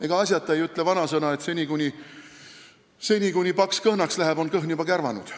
Ega asjata ei ütle vanasõna, et seni, kuni paks kõhnaks läheb, on kõhn juba kärvanud.